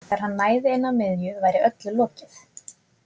Þegar hann næði inn að miðju væri öllu lokið.